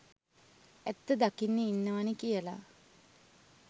ඇත්ත දකින්න ඉන්නවනේ කියල.